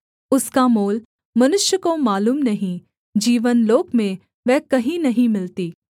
उसका मोल मनुष्य को मालूम नहीं जीवनलोक में वह कहीं नहीं मिलती